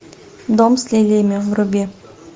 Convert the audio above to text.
дом с лилиями вруби